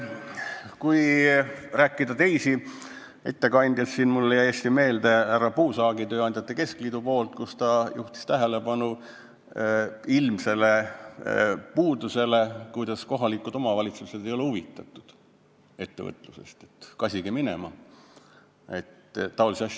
Kui rääkida teistest ettekandjatest, siin mulle jäi hästi meelde härra Puusaagi, tööandjate keskliidu esindaja ettekanne, kes juhtis tähelepanu ilmsele puudusele, et kohalikud omavalitsused ei ole huvitatud ettevõtlusest, nende suhtumine on see, et kasige minema.